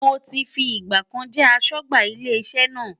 Mo ti fi ìgbà kan jẹ́ aṣọ́gbà ilé iṣẹ́ náà.